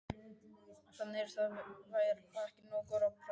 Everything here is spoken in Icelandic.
Þannig að þær verða ekki nógu góðar á bragðið?